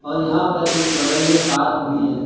और यहां पर एक बगल में पार्क भी है।